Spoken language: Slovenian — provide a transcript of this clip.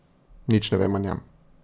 Nič ne vem o njem.